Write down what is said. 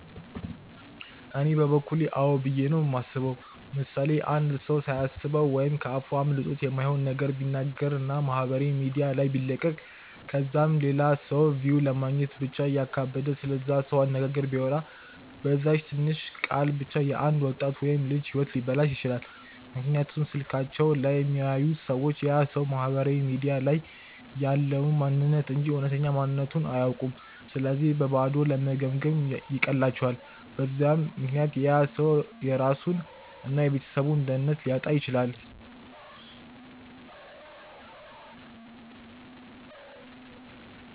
እኔ በበኩሌ አዎ ብዬ ነው የማስበው። ምሳሌ፦ አንድ ሰው ሳያስበው ወይም ከ አፉ አምልጦት የማይሆን ነገር ቢናገር እና ማህበራዊ ሚዲያ ላይ ቢለቅ ከዛም ለላ ሰው ቪው ለማግኘት ብቻ እያካበደ ስለዛ ሰው አነጋገር ቢያወራ፤ በዛች ትንሽ ቃል ብቻ የ አንድ ወጣት ወይም ልጅ ህይወት ሊበላሽ ይችላል፤ ምክንያቱም ስልካቸው ላይ የሚያዩት ሰዎች ያ ሰው ማህበራዊ ሚዲያ ላይ ያለውን ማንንነት እንጂ እውነተኛ ማንነትቱን አያውኩም ስለዚህ በባዶ ለመገምገም ይቀላቸዋል፤ በዛ ምክንያት ያ ሰው የራሱን እና የቤተሰቡን ደህንነት ሊያጣ ይችላል።